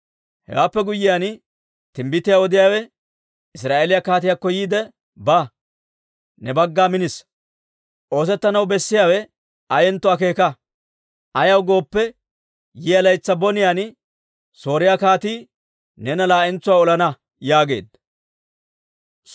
Hewaappe guyyiyaan timbbitiyaa odiyaawe Israa'eeliyaa kaatiyaakko yiide, «Ba; ne bagga minissa. Oosettanaw bessiyaabi ayentto akeeka. Ayaw gooppe, yiyaa laytsi boniyaan Sooriyaa kaatii neena laa'entsuwaa olana» yaageedda.